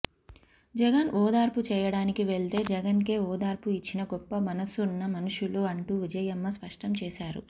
జగన్ ఓదార్పు చేయడానికి వెళ్తే జగన్కే ఓదార్పు ఇచ్చిన గొప్ప మనసున్న మనుషులు అంటూ విజయమ్మ స్పష్టం చేశారు